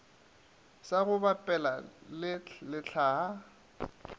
sa go bapela le lehlaa